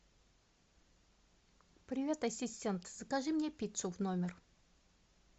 привет ассистент закажи мне пиццу в номер